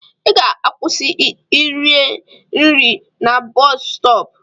Ị ga-akwụsị rie nri na boosu stopu!